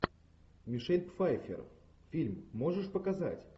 мишель пфайффер фильм можешь показать